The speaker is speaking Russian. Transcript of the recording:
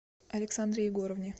александре егоровне